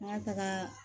An ka taga